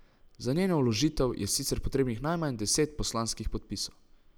Za njeno vložitev je sicer potrebnih najmanj deset poslanskih podpisov.